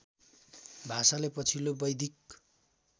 भाषालाई पछिल्लो वैदिक